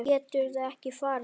Geturðu ekki farið?